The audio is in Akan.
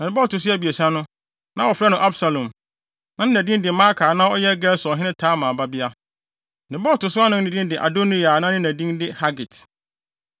Ne ba a ɔto so abiɛsa no, na wɔfrɛ no Absalom. Na ne na din de Maaka a na ɔyɛ Gesurhene Talmai babea. Ne ba a ɔto so anan din de Adoniya a ne na din de Hagit.